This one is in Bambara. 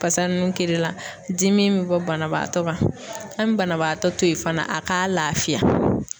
Fasa nun kirila dimi me bɔ banabaatɔ kan. An be banabaatɔ to yen fana a k'a lafiya.